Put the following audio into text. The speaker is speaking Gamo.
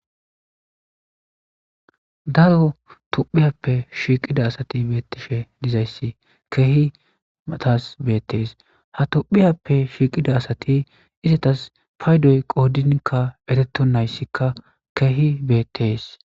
daro tophiyappe shiiqida asati beettishe dizayssi keehi matas beettees ha tophiyappe shiiqida asati izatas paydoy qoodinkka eretto nayssikka keehi beettees